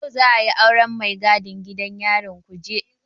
Yau za'a yi auren mai gadin gidan yarin Kuje.